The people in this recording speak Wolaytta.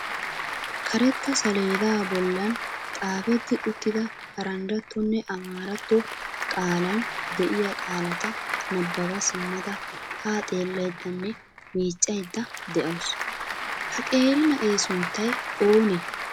Karetta saleda bolla xaafetti uttida Paranjjattonne Amaaratto qaalan de'iya qaalata nabbaba simmada ha xeellaydanne miiccaydda de'awusu. Ha qeeri na'ee sunttay oonee?